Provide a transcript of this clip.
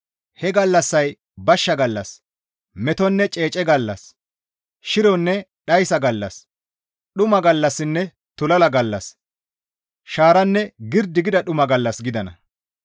He gallassay bashsha gallas, metonne ceece gallas, shironne dhayssa gallas, dhuma gallassinne tulala gallas, Shaaranne girdi gida dhuma gallas gidana.